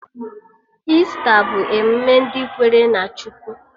Ista bụ emụme ndị kwere na Chukwu